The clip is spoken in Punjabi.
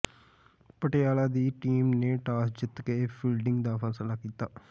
ਪਟਿਆਲਾ ਦੀ ਟੀਮ ਨੇ ਟਾਸ ਜਿੱਤ ਕੇ ਫੀਲਡਿੰਗ ਦਾ ਫ਼ੈਸਲਾ ਕੀਤਾ